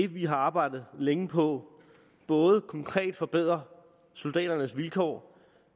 vi har arbejdet længe på både konkret forbedrer soldaternes vilkår